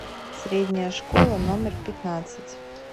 средняя школа номер пятнадцать